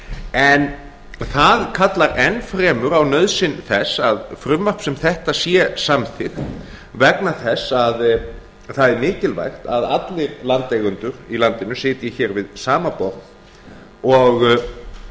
en það kallar enn fremur á nauðsyn þess að frumvarp sem þetta sé samþykkt vegna þess að það er mikilvægt að allir landeigendur í landinu sitji hér við sama borð og